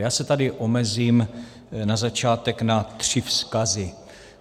Já se tady omezím na začátek na tři vzkazy.